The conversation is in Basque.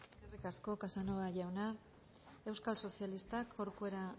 eskerrik asko casanova jauna euskal sozialistak corcuera